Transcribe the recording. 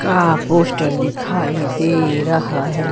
का पोस्टर दिखाई दे रहा है।